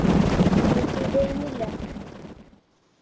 pttime ഇല്ല.